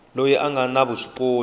loyi a nga na vuswikoti